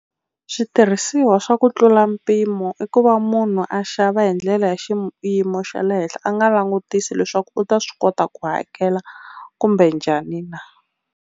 Switirhisiwa swa ku tlula mpimo i ku va munhu a xava hi ndlela ya xiyimo xa le henhla a nga langutisi leswaku u ta swi kota ku hakela kumbe njhani na.